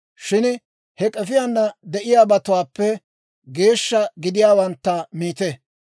Shin he k'efiyaana de'iyaabatuwaappe geeshsha gidiyaawantta miite.